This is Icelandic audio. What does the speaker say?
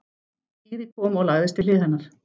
Týri kom og lagðist við hlið hennar.